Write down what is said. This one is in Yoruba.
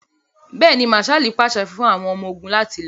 Bẹ́ẹ̀ni, Mạạṣạli paṣẹ fun àwọn ọmọ-ogun lati lọ.